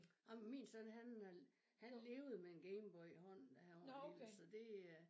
Ej men min søn han øh han levede med en Game Boy i hånden da han var lille så det øh